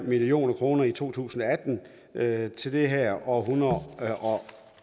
million kroner i to tusind og atten til det her og